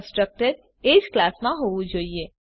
constructor એજ ક્લાસમાં હોવું જોઈએ